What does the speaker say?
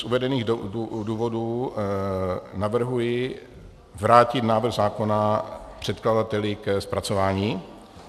Z uvedených důvodů navrhuji vrátit návrh zákona předkladateli k přepracování.